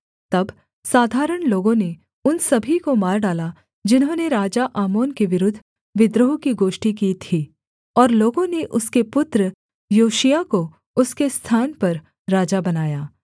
तब साधारण लोगों ने उन सभी को मार डाला जिन्होंने राजा आमोन के विरुद्धविद्रोह की गोष्ठी की थी और लोगों ने उसके पुत्र योशिय्याह को उसके स्थान पर राजा बनाया